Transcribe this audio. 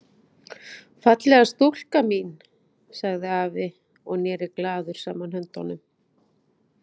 Fallega stúlkan mín sagði afi og neri glaður saman höndunum.